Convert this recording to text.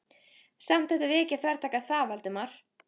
Samt ættum við ekki að þvertaka fyrir það, Valdimar.